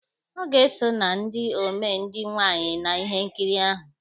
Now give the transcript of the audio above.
Ọ ga-eso na ndị omee ndị nwaanyị na ihe nkiri ahụ.